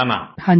प्रेम जी हाँ जी